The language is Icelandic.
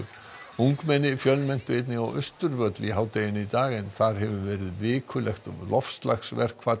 ungmenni fjölmenntu einnig á Austurvöll í hádeginu í dag en þar hefur verið vikulegt